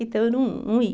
Então, eu não não ia.